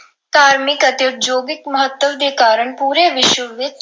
ਧਾਰਮਿਕ ਅਤੇ ਉਦਯੋਗਿਕ ਮਹੱਤਵ ਦੇ ਕਾਰਨ ਪੂਰੇ ਵਿਸ਼ਵ ਦੇ ਵਿੱਚ